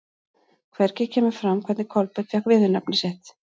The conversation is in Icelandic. Hvergi kemur fram hvernig Kolbeinn fékk viðurnefni sitt.